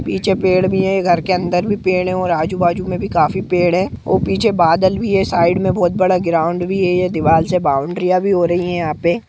पीछे पेड़ भी है घर के अन्दर भी पेड़ है और आजू बाजू में भी काफी पेड़ है पीछे बादल भी है साइड में बड़ा ग्राउंड भी है दीवाल भी है बाउंड्री भी हो रही है।